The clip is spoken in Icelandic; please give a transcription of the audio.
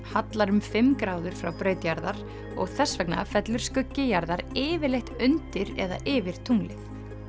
hallar um fimm gráður frá braut jarðar og þess vegna fellur skuggi jarðar yfirleitt undir eða yfir tunglið